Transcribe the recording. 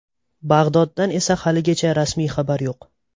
Bag‘doddan esa haligacha rasmiy xabar yo‘q.